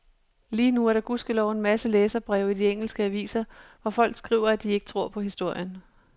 Lige nu er der gudskelov en masse læserbreve i de engelske aviser, hvor folk skriver at de ikke tror på historien.